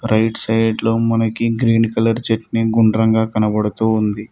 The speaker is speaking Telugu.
రైట్ సైడ్ లో మనకి గ్రీన్ కలర్ చట్నీ గుండ్రంగా కనబడుతూ ఉంది.